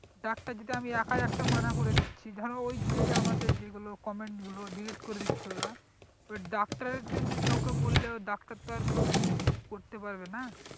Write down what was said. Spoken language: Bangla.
ডাক্তার যেটা আমি একাই একটা মানা করে দিচ্ছি ধরো ওই যেই আমাদের যেই গুলো comment গুলো delete করে দিচ্ছে ওরা ওই ডাক্তারের জন্যই কাউকে বললেও ডাক্তার তো আর কিছু করতে পারবে না